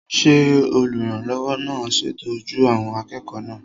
Ṣé olùrànlọ́wọ́ náà ń ṣètọ́jú àwọn akẹ́kọ̀ọ́ náà?